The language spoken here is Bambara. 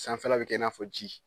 Sanfɛla bɛ kɛ i n'a fɔ ji.